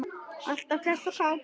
Alltaf hress og kát.